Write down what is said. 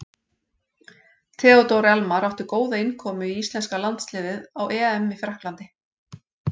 Theodór Elmar átti góða innkomu í íslenska landsliðið á EM í Frakklandi.